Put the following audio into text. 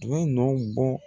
A bɛ nɔ bɔ